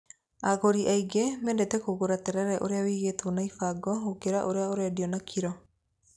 Agũri aingĩ mendete kũgũra terere ũrĩa wĩigĩtwo na ibango gũkĩra ũrĩa ũrendio na kiro.